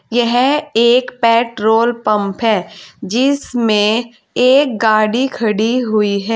यह एक petrol pump है जिसमें एक गाड़ी खड़ी हुई है।